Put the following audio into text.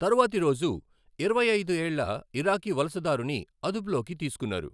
తరువాతి రోజు, ఇరవై ఐదు ఏళ్ల ఇరాకీ వలసదారుని అదుపులోకి తీసుకున్నారు.